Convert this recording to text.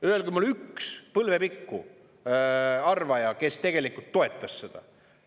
Öelge mulle üks põlvepikku arvaja, kes tegelikult toetas seda.